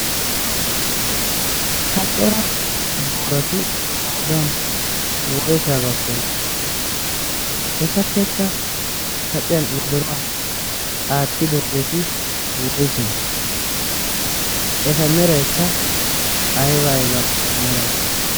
taccora boorati qoodan woysaagaaktona etappekka kaciyan wodoruwaa aattidoogeeti woyse eta meraikka ayba ayba meray